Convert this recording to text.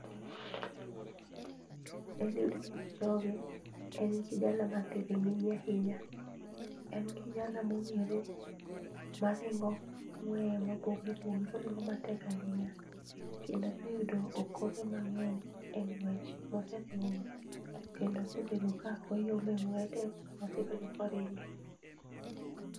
Eliud Kipchoge, en kijana mathiring'inyi ahinya. En kijana mong'ere ma ringo ng'weye mopogore opogore, oringo matek ahinya. Kendo oseyudo okombe mang'eny e ng'wech mose ringo go, kendo osebedo ka oyombe ng'weye te mosebedo koringe.